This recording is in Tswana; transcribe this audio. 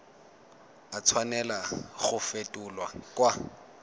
a tshwanela go fetolwa kwa